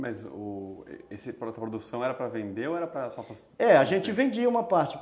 Mas a produção era para vender ou era só para... É, a gente vendia uma parte.